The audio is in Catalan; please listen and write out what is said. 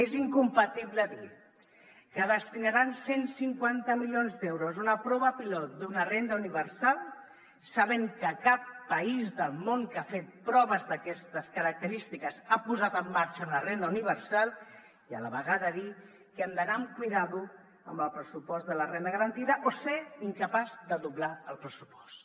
és incompatible dir que destinaran cent i cinquanta milions d’euros a una prova pilot d’una renda universal sabent que cap país del món que ha fet proves d’aquestes característiques ha posat en marxa una renda universal i a la vegada dir que hem d’anar amb compte amb el pressupost de la renda garantida o ser incapaços de doblar el pressupost